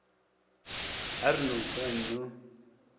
a re no fine no